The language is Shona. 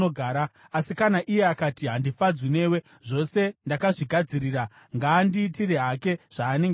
Asi kana iye akati, ‘Handifadzwi newe,’ zvose ndakazvigadzirira; ngaandiitire hake zvaanenge achida.”